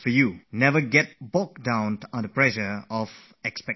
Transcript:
Don't buckle under the pressure of expectations